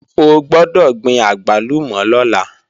O gbọ́dọ̀ gbin àgbálùmọ̀ lọ́la!